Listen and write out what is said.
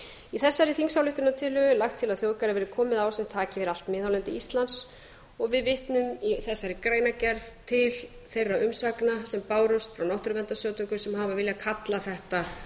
í þessari þingsályktunartillögu lagt til að þjóðgarði verði komið á sem taki yfir allt miðhálendi íslands og við vitnum í þessari greinargerð til þeirra umsagna sem bárust frá náttúruverndarsamtökum sem hafa viljað kalla þetta